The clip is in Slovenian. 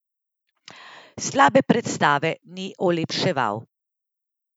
Slabe predstave ni olepševal.